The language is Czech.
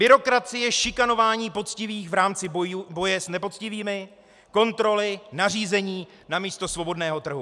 Byrokracie, šikanování poctivých v rámci boje s nepoctivými, kontroly, nařízení namísto svobodného trhu.